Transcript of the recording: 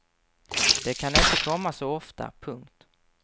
De kan inte komma så ofta. punkt